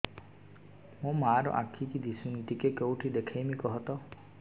ମୋ ମା ର ଆଖି କି ଦିସୁନି ଟିକେ କେଉଁଠି ଦେଖେଇମି କଖତ